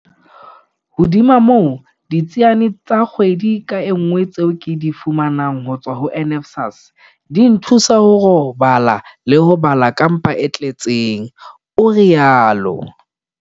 Hodima moo, ditsiane tsa kgwedi ka nngwe tseo ke di fumanang ho tswa ho NSFAS di nthusa ho robala le ho bala ka mpa e tle tseng, o rialo.